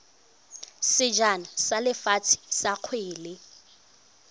sejana sa lefatshe sa kgwele